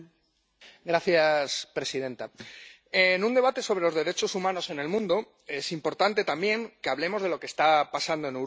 Señora presidenta, en un debate sobre los derechos humanos en el mundo es importante también que hablemos de lo que está pasando en Europa.